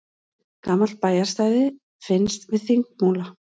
Gamalt bæjarstæði finnst við Þingmúla